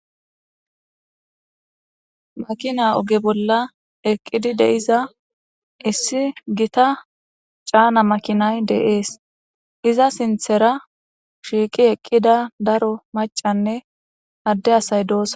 Makina oge bolla eqqidi de'iza issi gita caana makinay de'es iza sinththera shiiqi eqqida daro maccanne adde asay doosona.